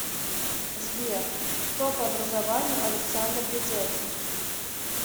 сбер кто по образованию александр ведяхин